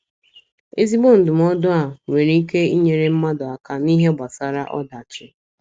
Ezigbo ndụmọdụ a nwere ike inyere mmadụ aka n’ihe gbasara ọdachi.